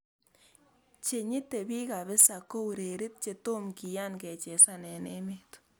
che nyite bik kabisa ko urerit ne tomo kian kechezan eng emet